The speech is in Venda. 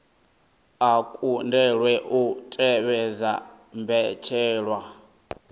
a kundelwa u tevhedza mbetshelwa